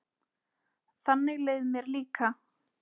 Þannig leið mér líka.